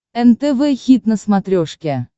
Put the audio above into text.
нтв хит на смотрешке